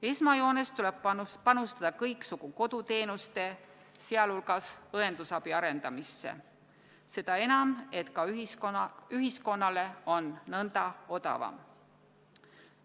Esmajoones tuleb panustada kõiksugu koduteenuste, sealhulgas õendusabi arendamisse, seda enam, et ka ühiskonnale on nõnda odavam.